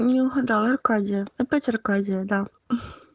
не угадал аркадия опять аркадия да